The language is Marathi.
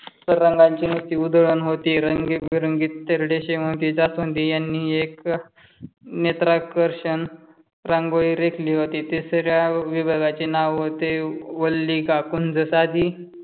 तर रंगांची नुसती उधळण होती रंगीबिरंगी तेरडे, शेवंती, जास्वंदी यांनी एक नेत्राकर्षण रांगोळी रेखली होती. ते सगळ्या विभागाचे नाव ते वल्ली का कुंद साधी